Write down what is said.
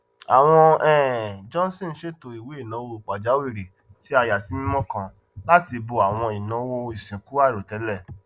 àwọn um johnson ṣètò ìwéináwó pajàwìrì tí a yàsímímọ kan láti bó àwọn ináwó ìsìnkú àìròtẹlẹ